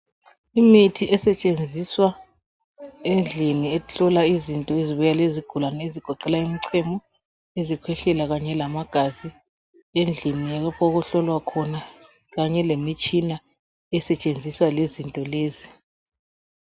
Imithi esetshenziswa endlini ehlola izinto ezibuya lezigulani egoqela imichemo izikhwehlela kanye lamagazi endlini okuhlolwa kanye lemitshina esetshenziswa lezinto lezi.